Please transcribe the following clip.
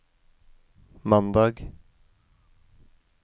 mandag